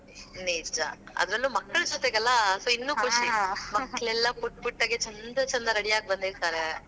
ನಿಜಾ, ಅದರಲ್ಲೂ ಮಕ್ಳ ಜೊತೆಗೆಲ್ಲಾ so ಇನ್ನೂ ಖುಷಿ ಎಲ್ಲಾ ಪುಟ್ಟ ಪುಟ್ಟಾಗೆ ಛಂದ ಛಂದ ready ಆಗ್ ಬಂದಿರತಾರ.